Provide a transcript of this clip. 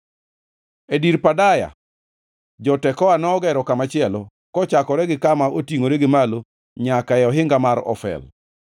E dir Pedaya, jo-Tekoa nogero kamachielo, kochakore gi kama otingʼore gi malo nyaka e ohinga mar Ofel.